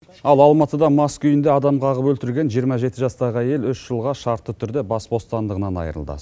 ал алматыда мас күйінде адам қағып өлтірген жиырма жеті жастағы әйел үш жылға шартты түрде бас бостандығынан айырылды